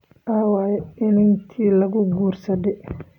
Aaway inantii lagu guursaday?